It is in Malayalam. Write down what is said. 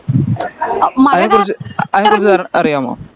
അതിനെകുറിച്ച് അതിനെകുറിച്ച് അറിയാമോ